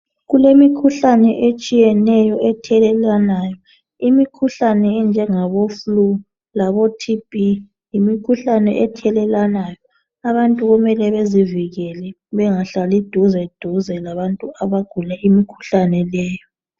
Kulemikhuhlane etshiyeneyo ethelelwana imikhuhlane enjengabo fulu labo thibhi yimikhuhlane ethelelanayi abantu kumele bezivikele bengahlali duze duze labantu abagula imikhuhlane leyo